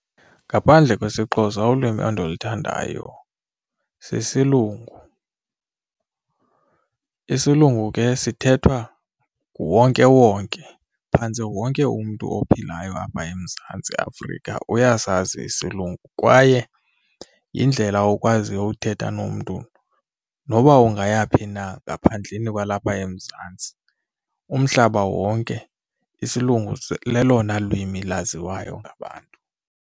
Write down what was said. Ngaphandle kwesiXhosa ulwimi endiluthandayo sisilungu. Isilungu ke sithethwa nguwonkewonke phantsi wonke umntu ophilayo apha eMzantsi Afrika uyasazi isilungu kwaye yindlela okwazi uthetha nomntu noba ungaya phi na ngaphandleni kwalapha eMzantsi. Umhlaba wonke isilungu lelona lwimi laziwayo ngabantu.